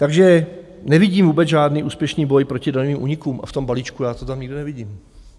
Takže nevidím vůbec žádný úspěšný boj proti daňovým únikům, a v tom balíčku já to tam nikdo nevidím.